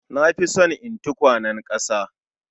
Na fi son yin tukwanen ƙasa